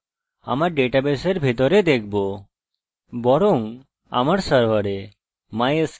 এটি একটি database interface php তে লেখা প্রোগ্রাম বা অন্য কথায় একটি স্ক্রিপ্ট